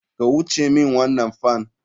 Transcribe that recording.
Kai wuce min wannan fan.